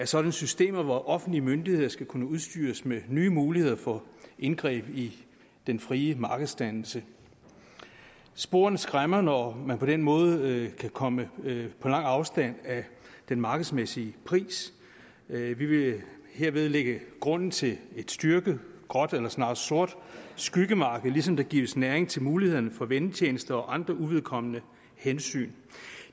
sådanne systemer hvor offentlige myndigheder skal kunne udstyres med nye muligheder for indgreb i den frie markedsdannelse sporene skræmmer når man på den måde kan komme på lang afstand af den markedsmæssige pris vi vil herved lægge grunden til et styrket gråt eller snarere sort skyggemarked ligesom der gives næring til mulighederne for vennetjenester og andre uvedkommende hensyn